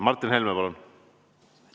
Martin Helme, palun!